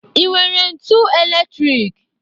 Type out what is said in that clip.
Ị nwere ntu elektrik?